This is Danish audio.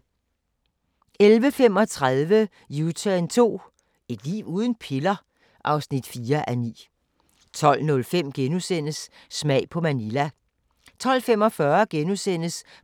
11:35: U-turn 2 – Et liv uden piller? (4:9) 12:05: Smag på Manila * 12:45: